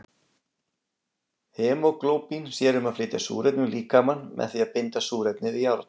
Hemóglóbín sér um að flytja súrefni um líkamann með því að binda súrefnið við járn.